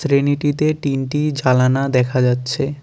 শ্রেণীটিতে তিনটি জালানা দেখা যাচ্ছে।